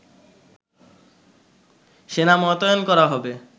সেনা মোতায়েন করা হবে